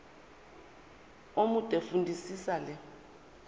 omude fundisisa le